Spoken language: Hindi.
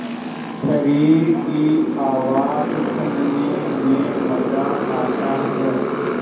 शरीर की आवाज़ सुनने में मज़ा आता है